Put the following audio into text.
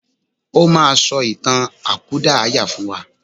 O máa sọ ìtàn àkúdàáyà fún wa.